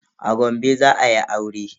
A Gombe za ayi aure.